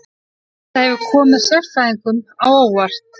Þetta hefur komið sérfræðingum á óvart